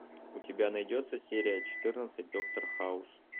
у тебя найдется серия четырнадцать доктор хаус